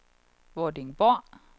Vordingborg